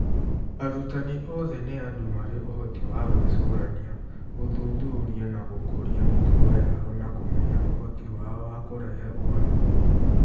Arutani othe nĩ andũ marĩ ũhoti wa gwĩcũrania, gũthuthuria, na gũkũria mĩtugo yao na kũmenya ũhoti wao wa kũrehe ũgarũrũku.